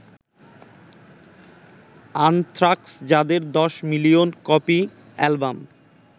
anthrax যাদের ১০ million copy album